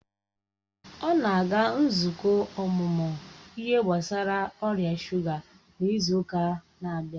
ọ na-aga nzukọ ọmụmụ ihe gbasara ọrịa shuga n'izu ụka na-abịa